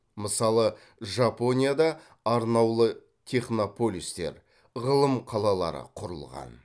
мысалы жапонияда арнаулы технополистер ғылым қалалары құрылған